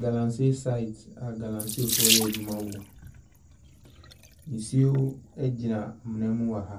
Galamsey site a galamsey reyɛ adwuma wɔ. Nsuo gyina amena mu wɔ ha.